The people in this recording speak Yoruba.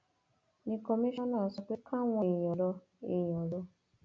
ní kọmíṣánná sọ pé káwọn èèyàn lọ èèyàn lọ